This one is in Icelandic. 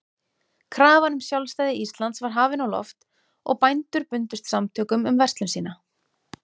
Krafan um sjálfstæði Íslands var hafin á loft, og bændur bundust samtökum um verslun sína.